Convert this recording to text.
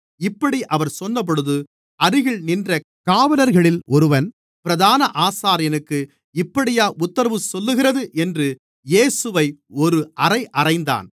இப்படி அவர் சொன்னபொழுது அருகில் நின்ற காவலர்களில் ஒருவன் பிரதான ஆசாரியனுக்கு இப்படியா உத்தரவு சொல்லுகிறது என்று இயேசுவை ஒரு அறை அறைந்தான்